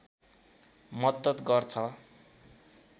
मद्दत गर्छ